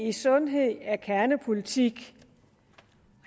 i sundhed er kernepolitik